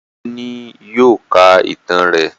Ọmọ rẹ ni yóò ká ìtàn rẹ